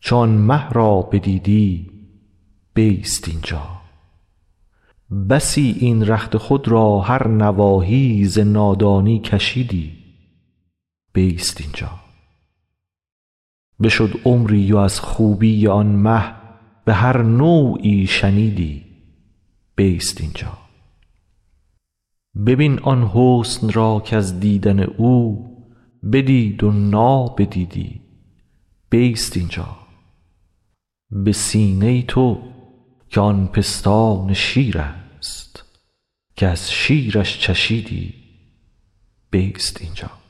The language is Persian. چو آن مه را بدیدی بیست این جا بسی این رخت خود را هر نواحی ز نادانی کشیدی بیست این جا بشد عمری و از خوبی آن مه به هر نوعی شنیدی بیست این جا ببین آن حسن را کز دیدن او بدید و نابدیدی بیست این جا به سینه تو که آن پستان شیرست که از شیرش چشیدی بیست این جا